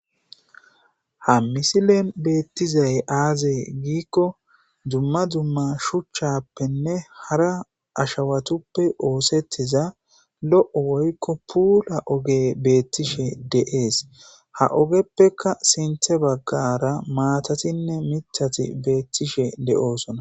Ha moosona. beettizay aazee giikko dumma dumma shuchchappenne hara ashawatuppe oosettiza lo'o woykko puula oge beettishe de'ees ha ogeppeka sinthe baggara maatatinne mithati beettishe de'oosona